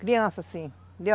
Criança, sim.